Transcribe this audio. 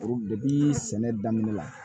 sɛnɛ daminɛ la